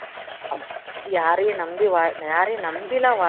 யாரையும் நம்பி வாழ யாரையும் நம்பிலாம் வாழ